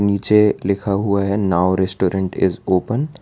नीचे लिखा हुआ है नाउ रेस्टोरेंट इस ओपन --